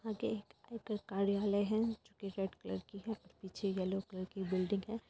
आगे एक आयकर कार्यालय है जो कि रेड कलर की है और पीछे येलो कलर की बिल्डिंग है।